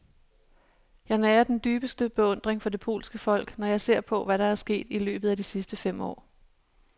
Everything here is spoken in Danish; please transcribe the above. Jeg nærer den dybeste beundring for det polske folk, når jeg ser på, hvad der er sket i løbet af de sidste fem år.